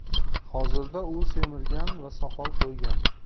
Hozirda u semirgan va soqol qo‘ygan.